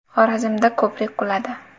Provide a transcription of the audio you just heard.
Xorazmda ko‘prik quladi.